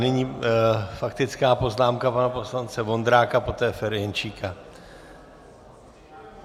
Nyní faktická poznámka pana poslance Vondráka, poté Ferjenčíka.